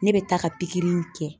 Ne bɛ taa ka pikiri in kɛ